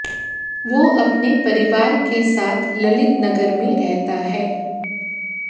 वो अपने परिवार के साथ ललितनगर में रहता है